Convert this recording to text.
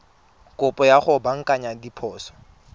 kopo ya go baakanya diphoso